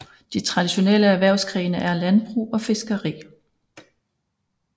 De to traditionelle erhvervsgrene er landbrug og fiskeri